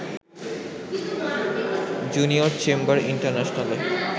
junior chamber ইন্টারন্যাশনালে